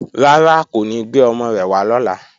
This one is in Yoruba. Rárá, kò ní gbé ọmọ rẹ̀ wá lọ́la